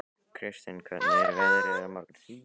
Kristin, hvernig er veðrið á morgun?